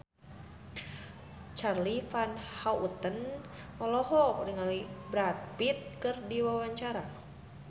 Charly Van Houten olohok ningali Brad Pitt keur diwawancara